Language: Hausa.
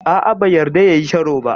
A'a, bai yarda ya yi sharo ba.